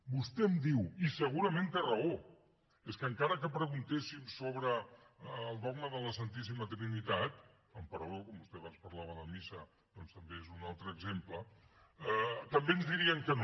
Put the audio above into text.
vostè em diu i segurament té raó és que encara que preguntéssim sobre el dogma de la santíssima trinitat amb perdó com que vostè abans parlava de missa doncs també és un altre exemple també ens dirien que no